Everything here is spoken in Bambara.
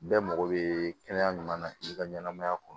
Bɛɛ mago bɛ kɛnɛya ɲuman na k'i ka ɲɛnamaya kɔnɔ